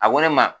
A ko ne ma